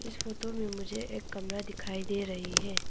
Photo में मुझे एक कमरा दिखाई दे रही है।